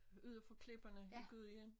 Ude for klipperne i Gudhjem